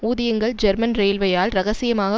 ஊதியங்கள் ஜெர்மன் ரெயில்வேயால் இரகசியமாக